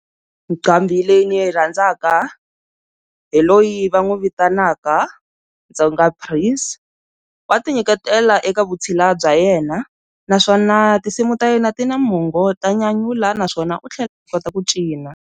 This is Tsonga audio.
Nqambhi leyi ndzi yi rhandzaka hi loyi va n'wi vitanaka Tsonga Prince, wa ti nyiketela eka vutshila bya yena naswona tinsimu ta yena ti na mongo ta nyanyula naswona u tlhela u kota ku cina.